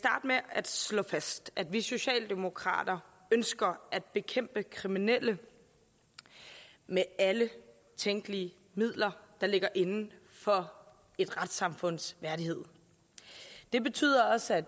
med at slå fast at vi socialdemokrater ønsker at bekæmpe kriminelle med alle tænkelige midler der ligger inden for et retssamfunds værdighed det betyder også at